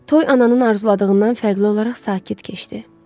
Toy ananın arzuladığından fərqli olaraq sakit keçdi.